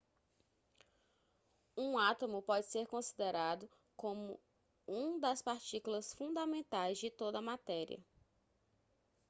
um átomo pode ser considerado como um das partículas fundamentais de toda a matéria